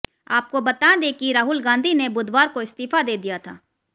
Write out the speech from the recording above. आपको बता दें कि राहुल गांधी ने बुधवार को इस्तीफा दे दिया था